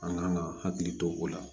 An kan ka hakili to o la